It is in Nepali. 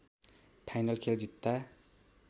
फाइनल खेल जित्दा